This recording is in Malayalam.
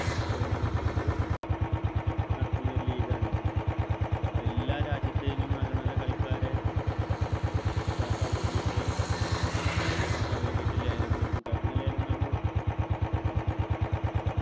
സ്വന്തമാക്കിട്ട് നടത്തുന്ന ഒരു league ആണ് എല്ലാ രാജ്യത്തെലും നല്ല നല്ല കളിക്കാരെ ഇതാക്കാൻ വേണ്ടിയിട്ട് സ്വന്തമാക്കാൻ വേണ്ടിയിട്ട് ലേലം വിളിക്ക കഴിഞ്ഞ ലേലം നടന്നത്